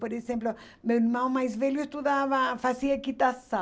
Por exemplo, meu irmão mais velho estudava, fazia equitação.